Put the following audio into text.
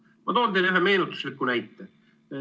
Ma toon teile ühe meenutusliku näite.